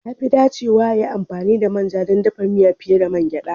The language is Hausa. Ya fi dacewa a yi amfani da manja don dafa miya fiye da mangeda